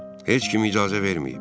Heç kim icazə verməyib.